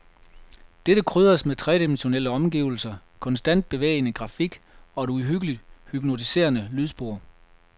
Dette krydres med tredimensionelle omgivelser, konstant bevægende grafik og et uhyggeligt hypnotiserende lydspor.